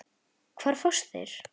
Hvar fást þeir?